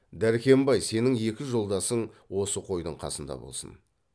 дәркембай сенің екі жолдасың осы қойдың қасында болсын